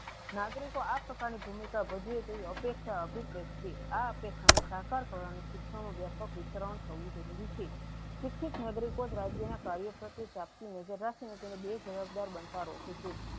નાગરીકો આ પ્રકાર ની ભૂમિકા વધી અપેક્ષા અભીપ્રતિ આ અપેક્ષા ને સાકાર કરવાનું શિક્ષનો વિતરણ થવ જરૂરી છે શિક્ષિત નાગરિકો રાજ્ય ના કાર્ય સાથે નજર રાખી ને તેને બે જવાબદાર બનતા રોહી છે.